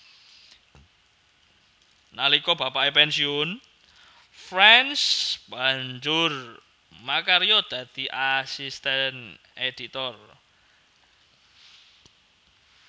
Nalika bapake pensiun France banjur makarya dadi asisten editor